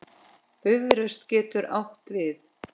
Bifröst getur átt við